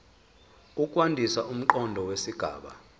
ukwandisa umqondo wesigaba